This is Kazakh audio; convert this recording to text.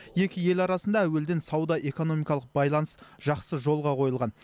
екі ел арасында әуелден сауда экономикалық байланыс жақсы жолға қойылған